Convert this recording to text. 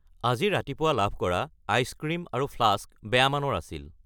আজি ৰাতিপুৱা লাভ কৰা আইচ ক্ৰীম আৰু ফ্লাস্ক বেয়া মানৰ আছিল।